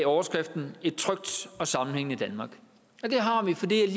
overskriften et trygt og sammenhængende danmark og det har vi fordi